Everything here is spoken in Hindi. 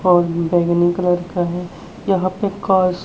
और बैगनी कलर का है यहां पे कस--